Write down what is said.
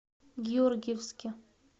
георгиевске